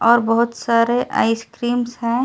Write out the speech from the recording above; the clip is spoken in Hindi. और बहुत सारे आइसक्रीमस है।